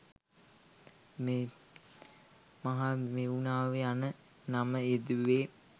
මහමෙව්නාව යන නම යෙදුවේ